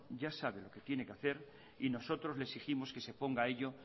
ya sabe lo que tiene hacer y nosotros le exigimos que se ponga a ello